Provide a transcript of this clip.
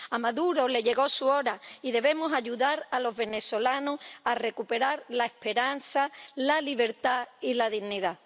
A Maduro le llegó su hora y debemos ayudar a los venezolanos a recuperar la esperanza, la libertad y la dignidad.